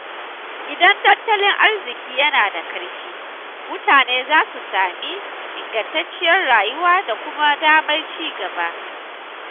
Idan tattalin arziƙi yana da ƙarfi, mutane za su sami ingantacciyar rayuwa da kuma damar ci gaba.